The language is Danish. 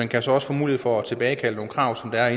kan så også få mulighed for at tilbagekalde nogle krav som er